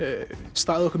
staðið okkur